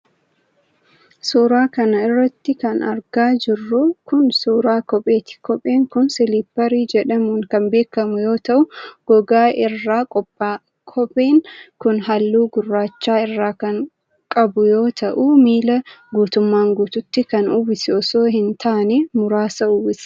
Suura kana irratti kan argaa jirru kun, suura kopheeti. Kopheen kun siliipparii jedhamuun kan beekamu yoo ta'u, gogaa irraa qopha'a. Kopheen kun haalluu gurraacha irraa kan qabu yoo ta'u, miila guutumaan guututti kan uwwisu osoo hin taane, muraasa uwwisa.